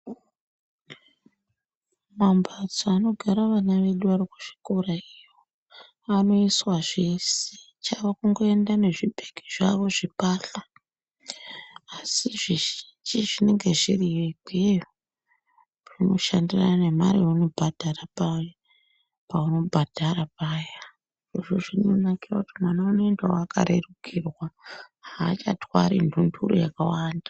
Mambatso anogara vana vedu vari kuzvikora iyo, anoyiswa zveshe chavo kungoenda nezvibhegi zvavo zvepahla, asi zvizhinji zvinenge zviriyo ikweyo, zvinoshandirana nemari yaunobhadhara paya, paunobhadhara paya , zvirozvo zvinonakira kuti mwana unoendawo akarerikirwa hachatwari ndundu yakawanda.